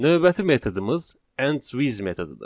Növbəti metodumuz endswith metodudur.